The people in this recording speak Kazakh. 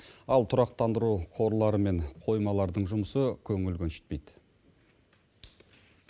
ал тұрақтандыру қорлары мен қоймалардың жұмысы көңіл көншітпейді